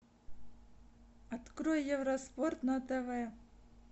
открой евроспорт на тв